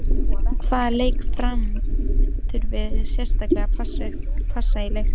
Hvaða leikmann Fram þurfið þið sérstaklega að passa í leiknum?